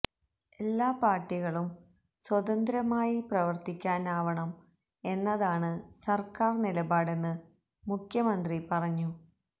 എല്ലാ പാര്ട്ടികളും സ്വതന്ത്രമായി പ്രവര്ത്തിക്കാനാവണം എന്നതാണ് സര്ക്കാര് നിലപാടെന്ന് മുഖ്യമന്ത്രി പറഞ്ഞു